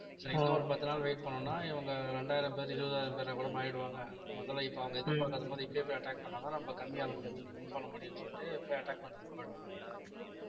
சரிங்களா இன்னும் ஒரு பத்து நாள் wait பண்ணோம்னா இவங்க இரண்டாயிரம் பேர் இருபதாயிரம் பேரா கூட மாறிடுவாங்க முதல்ல இப்ப அவங்க எதிர்பார்க்காத போது, இப்பயே போய் attack பண்ணாதான் நம்ம கம்மி ஆளுங்களை win பண்ண முடியும்ன்னு சொல்லிட்டு போய் attack பண்றதுக்கு போயிடுவாங்க